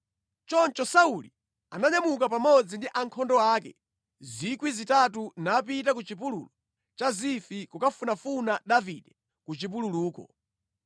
Choncho Sauli ananyamuka pamodzi ndi ankhondo ake 3,000 napita ku chipululu cha Zifi kukafunafuna Davide ku chipululuko.